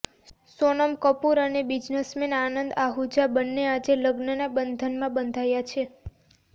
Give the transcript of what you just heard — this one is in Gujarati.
સોનમ કપૂર અને બિઝનેસમેન આનંદ આહૂજા બંને આજે લગ્નના બંધનમાં બંધાયા છે